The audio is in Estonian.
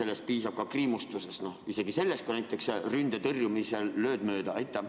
Või piisab ka kriimustusest, isegi sellest, kui näiteks ründe tõrjumisel lööd mööda?